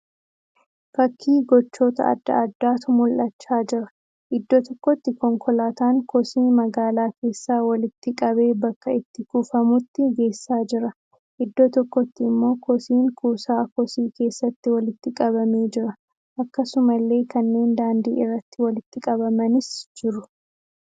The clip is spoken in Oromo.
Fakkii gochoota adda addaatu mul'achaa jira. Iddoo tokkotti konkolaataan kosii magaalaa keessaa walitti qabee bakka itti kuufamutti geessaa jira. Iddoo tokkotti immoo kosiin kuusaa kosii keessatti walitti qabamee jira. Akkasumallee kanneen daandii irratti walitti qabamanis jiru.